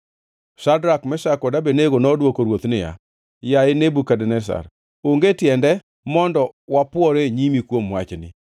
Shadrak, Meshak kod Abednego nodwoko ruoth niya, “Yaye Nebukadneza, onge tiende mondo wapwore e nyimi kuom wachni.